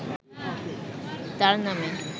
তার নামে